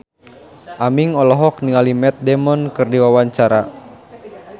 Aming olohok ningali Matt Damon keur diwawancara